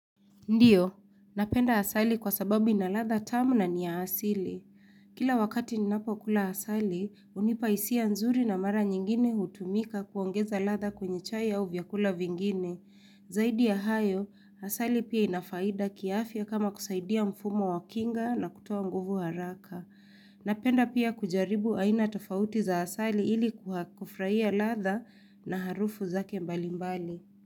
Ndiyo, napenda asali kwa sababu ina ladha tamu na niya asili. Kila wakati ninapo kula asali, hunipa hisia nzuri na mara nyingine hutumika kuongeza latha kwenye chai au vyakula vingine. Zaidi ya hayo, asali pia inafaida kiafya kama kusaidia mfumo wa kinga na kutoa nguvu haraka. Napenda pia kujaribu aina tofauti za asali ili kufurahia ladha na harufu zake mbalimbali.